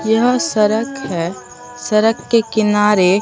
यह सरक है सरक के किनारे--